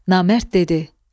Namərd dedi: